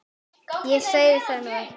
Ég sagði það nú ekki